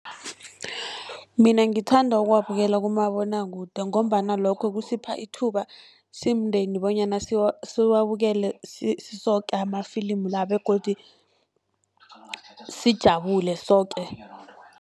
Mina ngithanda ukuwabukela kumabonwakude, ngombana lokho kusipha ithuba simndeni bonyana siwabukele sisoke amafilimu la begodu sijabule soke.